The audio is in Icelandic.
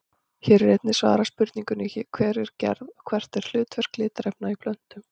Hér er einnig svarað spurningunni Hver er gerð og hvert er hlutverk litarefna í plöntum?